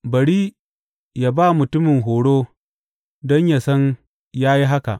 Bari yă ba mutumin horo don yă san ya yi haka!